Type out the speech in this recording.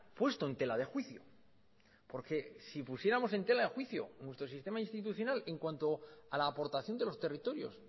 puesto en tela de juicio porque si pusiéramos en tela de juicio nuestro sistema institucional en cuanto a la aportación de los territorios